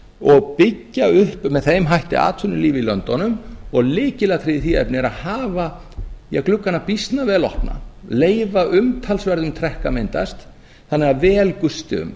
og byggja upp með þeim hætti atvinnulíf í löndunum og lykilatriðið í því efni er að hafa gluggana býsna vel opna leyfa umtalsverðum trekk að myndast þannig að vel gusti um